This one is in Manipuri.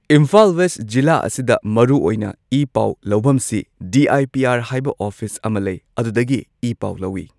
ꯏꯝꯐꯥꯜ ꯋꯦꯁꯠ ꯖꯤꯂꯥ ꯑꯁꯤꯗ ꯃꯔꯨꯑꯣꯏꯅ ꯏ ꯄꯥꯎ ꯂꯧꯕꯝꯁꯤ ꯗꯤ ꯑꯥꯏ ꯄꯤ ꯑꯥꯔ ꯍꯥꯏꯕ ꯑꯣꯐꯤꯁ ꯑꯃ ꯂꯩ ꯑꯗꯨꯗꯒꯤ ꯏꯄꯥꯎ ꯂꯧꯏ꯫